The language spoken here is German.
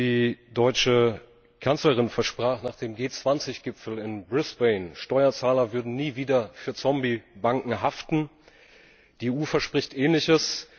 Die deutsche Kanzlerin versprach nach dem G20 Gipfel in Brisbane Steuerzahler würden nie wieder für Zombie Banken haften. Die EU verspricht Ähnliches.